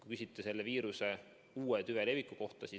Te küsite selle viiruse uue tüve leviku kohta.